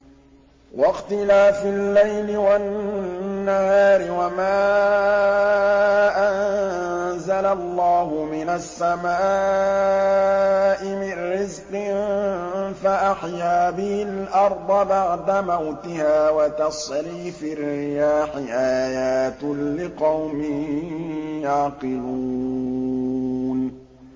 وَاخْتِلَافِ اللَّيْلِ وَالنَّهَارِ وَمَا أَنزَلَ اللَّهُ مِنَ السَّمَاءِ مِن رِّزْقٍ فَأَحْيَا بِهِ الْأَرْضَ بَعْدَ مَوْتِهَا وَتَصْرِيفِ الرِّيَاحِ آيَاتٌ لِّقَوْمٍ يَعْقِلُونَ